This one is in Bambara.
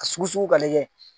A sugu sugu ka lajɛ.